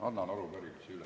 Annan arupärimise üle.